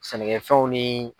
Sɛnɛkɛfɛnw ni